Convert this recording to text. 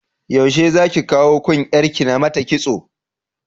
Yaushe zaki kawo kun yar ki namata kitso?